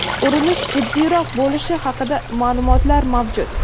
urinish jiddiyroq bo‘lishi haqida ma’lumotlar mavjud.